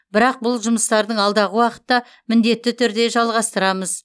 бірақ бұл жұмыстардың алдағы уақытта міндетті түрде жалғастырамыз